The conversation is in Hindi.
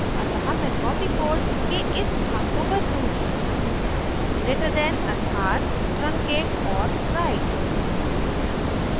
अतः मैं copied code के इस भाग को बदलूँगी > greater than अर्थात truncate or write